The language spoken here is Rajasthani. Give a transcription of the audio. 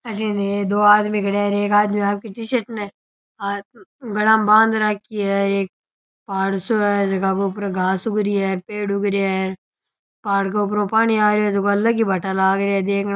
अठीने दो आदमी खड़या है और एक आदमी आपकी टी-शर्ट ने गला मा बाँध राखी है और एक पहाड़ सो है जेका के ऊपर घास उग री है पेड़ उग रे है पहाड़ का ऊपर पानी आ रेहो जो अलग ही भाटा लाग रेहो देखने में।